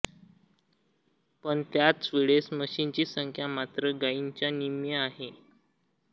पण त्याचवेळेस म्हशींची संख्या मात्र गाईंच्या निम्मी आहे